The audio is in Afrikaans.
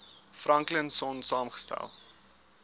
franklin sonn saamgestel